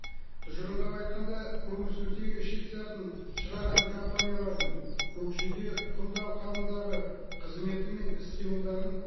тұжырымдап айтқанда көмірсутегі шикізатын шығаратын компаниялардың көкжиде құмды алқабындағы қызметі мен іс қимылдарын